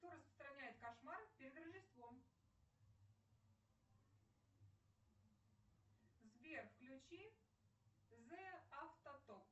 кто распространяет кошмары перед рождеством сбер включи зэ афтоток